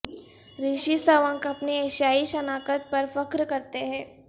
رشی سونک اپنی ایشیائی شناخت پر فخر کرتے ہیں